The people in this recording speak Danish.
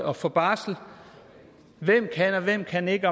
og få barsel hvem kan og hvem kan ikke